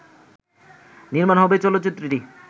নির্মাণ হবে চলচ্চিত্রটি